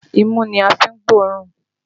Imú ni a fi ń gbóòórùn